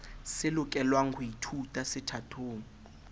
se lokelwa ho ithutwa sethatong